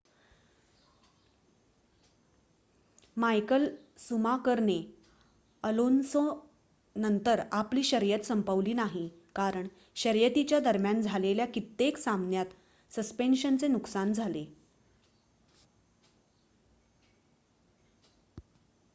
Michael शुमाकरने अलोन्सोनंतर आपली शर्यत संपवली नाही कारण शर्यतीच्या दरम्यान झालेल्या कित्येक सामन्यात सस्पेंशनचे नुकसान झाले